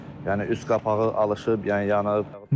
Yəni üst qapağı alışıb, yəni yanıb.